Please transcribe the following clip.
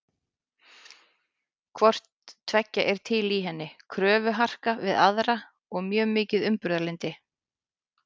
Hvort tveggja er til í henni, kröfuharka við aðra og mjög mikið umburðarlyndi.